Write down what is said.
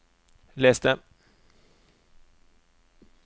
les det